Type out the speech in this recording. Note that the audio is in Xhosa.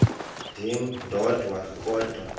ndim ndodwa kodwa